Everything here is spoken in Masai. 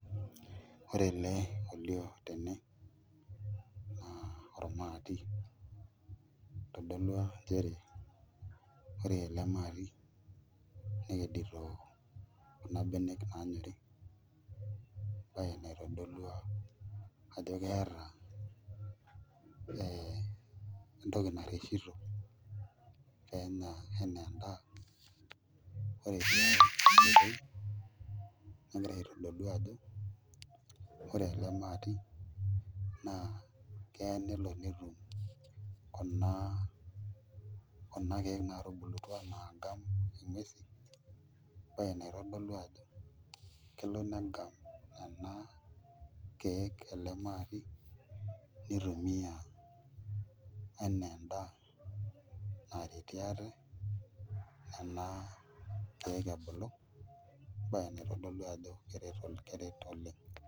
Ore ele naa ormaati kiidim aitodolu nchere ore ele maati nekedito kuna benek naanyori embaye naitodolua ajo keeta ee entoki narreshito pee enya enaa endaa ore tiai oitoi negira aitodolu ajo ore ele maati naa keya nelo netum kuna keek naatubulutua naagam nguesi embaye naitodolu ajo kelo negam nena keek ele maati nitumiaa enaa endaa naretie ate ena keek ebulu embaye naitodolu ajo keret oleng'.